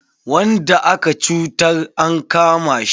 Wanda aka cutar an kama shi.